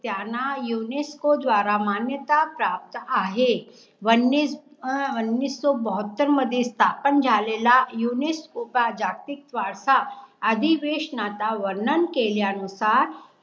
त्यांना युनेस्को द्वारा मान्यता प्राप्त आहे. वन्नीस वन्नीसोबहात्तर मध्ये स्थापन झालेला युनेस्को का जागतिक वारसा अधिवेशनाचा वर्णन केल्या नुसार